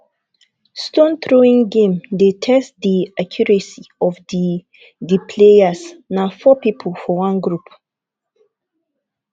stone throwing game dey test di accuracy of di di players na four pipo for one group